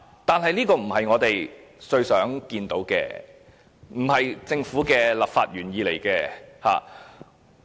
但是，這並非我們最想見到的，這並非政府的立法原意。